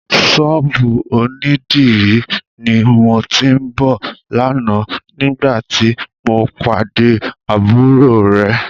Ṣọ́ọ̀bù onídìrí ni mo ti ń bọ̀ lánàá nígbàtí mo pàdé àbúrò rẹ.